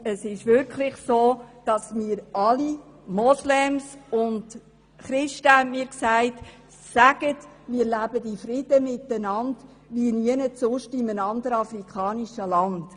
Es ist wirklich so, dass mir alle Moslems und Christen gesagt haben, ich solle erzählen, dass sie in Frieden miteinander leben, wie nirgends sonst in einem afrikanischen Land.